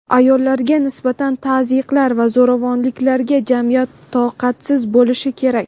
ayollarga nisbatan tazyiqlar va zo‘ravonliklarga jamiyat toqatsiz bo‘lishi kerak.